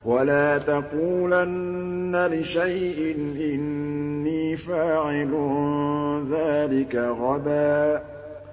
وَلَا تَقُولَنَّ لِشَيْءٍ إِنِّي فَاعِلٌ ذَٰلِكَ غَدًا